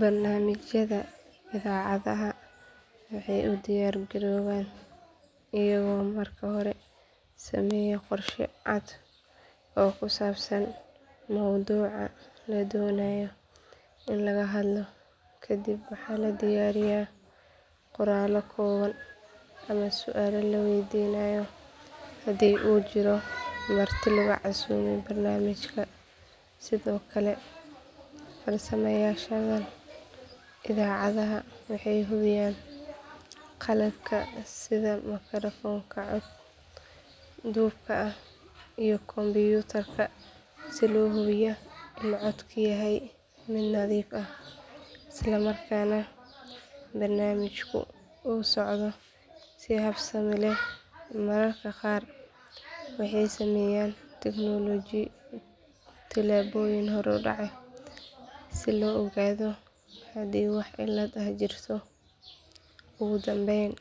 Barnaamijyada idaacadaha waxay u diyaargaroobaan iyagoo marka hore sameeya qorshe cad oo ku saabsan mowduuca la doonayo in laga hadlo kadib waxa la diyaariyaa qoraallo kooban ama su’aalo la weydiinayo haddii uu jiro marti lagu casuumay barnaamijka sidoo kale farsamayaqaanada idaacadda waxay hubiyaan qalabka sida makarafoonka cod duubka iyo kombiyuutarka si loo hubiyo in codku yahay mid nadiif ah islamarkaana barnaamijku u socdo si habsami leh mararka qaar waxay sameeyaan tijaabooyin horudhac ah si loo ogaado haddii wax cilad ah jirto ugu dambeyn